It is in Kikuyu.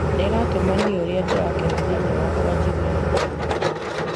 Nĩ ĩratũma niĩ ũrĩa ndĩrakena thĩiniĩ wakwa njigue gĩkeno.